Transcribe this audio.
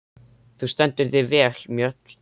Þú stendur þig vel, Mjöll!